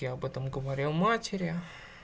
я об этом говорил матери